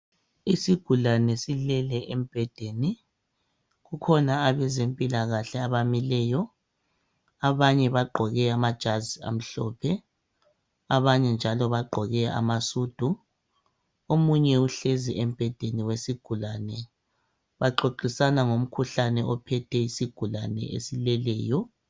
isigulane silele embhedeni kukhona abezempilakahle abamileyo abanye bagqoke amajazi omhlophe abanye njalo bagqoke ama sudu omunye uhlezi embhedeni wesigulane baxoxisana ngomkhuhlane ophethe isigulane esileleyo